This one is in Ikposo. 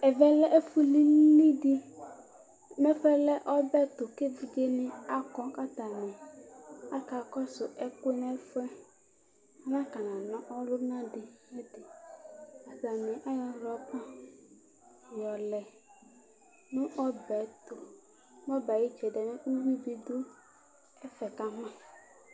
Ɛvɛ lɛ ɛfʊ lɩlɩdɩ Mɛfʊɛ lɛ ɔbɛ tʊ kevɩdze nɩ akɔ katanɩ aka kɔsʊvɛkʊɛ nɛfʊɛ Anaka nana ɔlʊna dɩ nʊ ɛfʊɛ Atanɩ ayɔ rɔba ƴɔlɛ nʊ ɔbɛ tʊ Nɔbɛ ayɩ tsɛdɩ ʊwʊɩ dɛfɛ kama